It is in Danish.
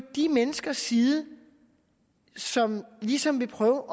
de menneskers side som ligesom vil prøve